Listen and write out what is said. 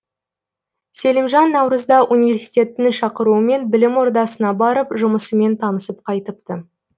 селимжан наурызда университеттің шақыруымен білім ордасына барып жұмысымен танысып қайтыпты